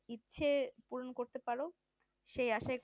ইচ্ছে পূরণ করতে পারো সেই আশায়